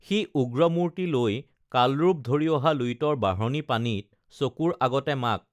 সি উগ্ৰমূৰ্ত্তি লৈ কালৰূপ ধৰি অহা লুইতৰ বাঢ়নী পানীত চকুৰ আগতে মাক